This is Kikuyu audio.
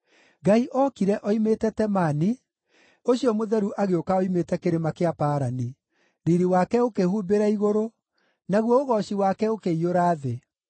Ngai ookire oimĩte Temani, ũcio Mũtheru agĩũka oimĩte Kĩrĩma kĩa Parani. Riiri wake ũkĩhumbĩra igũrũ, naguo ũgooci wake ũkĩiyũra thĩ.